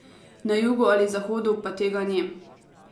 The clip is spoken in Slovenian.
Na jugu ali zahodu pa tega ni.